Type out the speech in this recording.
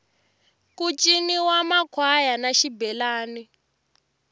ku ciniwa makhwaya na xibelani